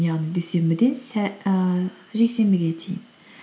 яғни дүйсенбіден жексенбіге дейін